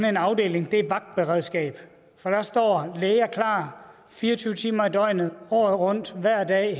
en afdeling er vagtberedskabet der står læger klar fire og tyve timer i døgnet året rundt hver dag